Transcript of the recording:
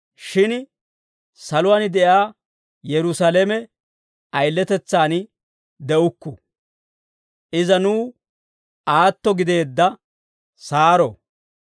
Shin saluwaan de'iyaa Yerusaalame ayiletetsaan de'ukku; iza nuw aatto gideedda Saaro.